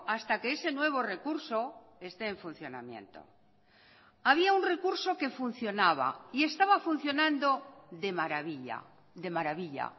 hasta que ese nuevo recurso esté en funcionamiento había un recurso que funcionaba y estaba funcionando de maravilla de maravilla